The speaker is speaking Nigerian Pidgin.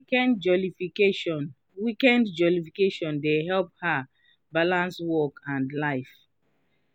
weekend jollification weekend jollification dey help her balance work and life.